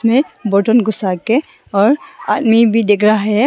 में बटन घुसा के और आदमी भी दिख रहा है।